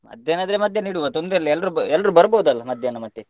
ಮಧ್ಯಾಹ್ನ ಆದ್ರೆ ಮಧ್ಯಾಹ್ನ ಇಡುವ ತೊಂದ್ರೆ ಇಲ್ಲ, ಎಲ್ರೂ ಎಲ್ರೂ ಬರ್ಬೋದಲ್ಲ ಮಧ್ಯಾಹ್ನ ಮತ್ತೆ?